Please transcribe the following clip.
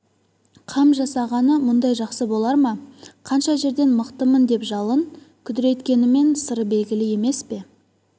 қам жасағаны мұндай жақсы болар ма қанша жерден мықтымын деп жалын күдірейткенімен сыры белгілі емес пе